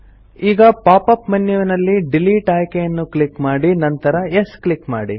ಈಗ pop up ಮೆನ್ಯುನಲ್ಲಿ delete ಆಯ್ಕೆಯನ್ನು ಕ್ಲಿಕ್ ಮಾಡಿ ನಂತರ ಯೆಸ್ ಕ್ಲಿಕ್ ಮಾಡಿ